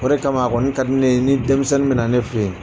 O de kama a kɔni ka di ne ye ni denmisɛnnin bɛ na ne fɛ yen.